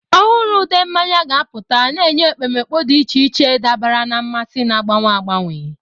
Ọhụrụ ude mmanya ga-apụta, na-enye ekpomeekpo dị iche iche dabara na mmasị na-agbanwe agbanwe.